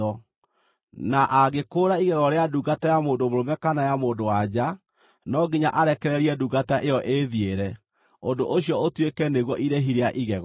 Na angĩkũũra igego rĩa ndungata ya mũndũ mũrũme kana ya mũndũ-wa-nja, no nginya arekererie ndungata ĩyo ĩĩthiĩre, ũndũ ũcio ũtuĩke nĩguo irĩhi rĩa igego.